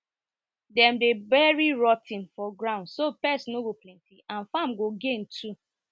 dem dey bury rot ten for ground so pest no go plenty and farm go gain too